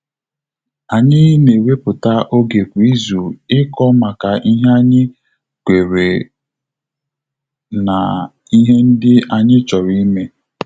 Anyị na ewepụta oge kwa izu iko maka ihe anyị kwere mna ihe ndị anyị chọrọ ime